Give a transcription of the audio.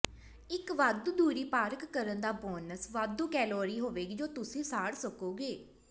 ਇੱਕ ਵਾਧੂ ਦੂਰੀ ਪਾਰਕ ਕਰਨ ਦਾ ਬੋਨਸ ਵਾਧੂ ਕੈਲੋਰੀ ਹੋਵੇਗੀ ਜੋ ਤੁਸੀਂ ਸਾੜ ਸਕੋਗੇ